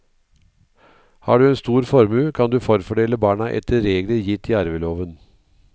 Har du en stor formue, kan du forfordele barna etter regler gitt i arveloven.